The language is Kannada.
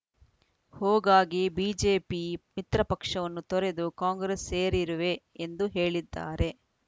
ಹೋಗಾಗಿ ಬಿಜೆಪಿ ಮಿತ್ರಪಕ್ಷವನ್ನು ತೊರೆದು ಕಾಂಗ್ರೆಸ್‌ ಸೇರಿರುವೆ ಎಂದು ಹೇಳಿದ್ದಾರೆ